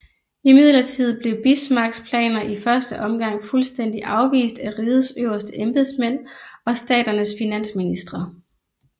Imidlertid blev Bismarcks planer i første omgang fuldstændig afvist af rigets øverste embedsmænd og staternes finansministre